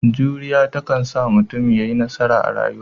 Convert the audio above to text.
Juriya ta kansa sa mutum ya yi nasara a rayuwa.